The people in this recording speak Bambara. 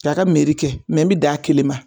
K'a ka kɛ n mi dan ale kelen ma